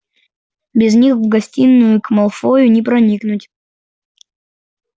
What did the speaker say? без них в гостиную к малфою не проникнуть